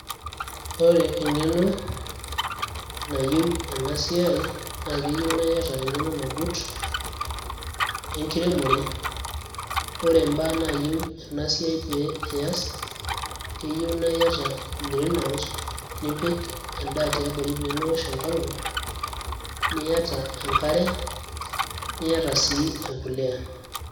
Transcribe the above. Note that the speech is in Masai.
Ore eng'eno nayieu ena siai naa keyieu niata eng'eno nagut enkiremore ore imbaa naayieu ena siai pee iyas keyieu naa iyata green house nipik emdaa tiabori temeinyial enkolong niata enkare niata sii embuliya.